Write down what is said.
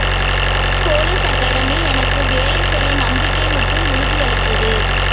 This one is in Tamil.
பொலிஸ் அகாடமி எனக்கு வேலை செய்ய நம்பிக்கை மற்றும் உறுதியளித்தது